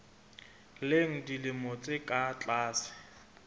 leng dilemo tse ka tlase